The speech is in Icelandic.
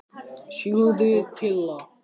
Lilja þagði og hneppti að sér skyrtunni.